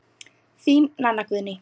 Þín, Nanna Guðný.